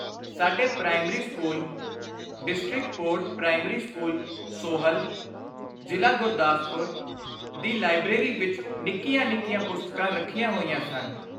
ਸਾਡੇ primary school' ( district board primary school, Sohal, ਜ਼ਿਲ੍ਹਾ ਗੁਰਦਾਸਪੁਰ।) ਦੀ ਲਾਇਬਰੇਰੀ ਵਿਚ ਨਿੱਕੀਆਂ ਨਿੱਕੀਆਂ ਪੁਸਤਕਾਂ ਰੱਖੀਆਂ ਹੋਈਆਂ ਸਨ।